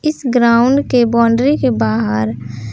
इस ग्राउंड के बाउंड्री के बाहर--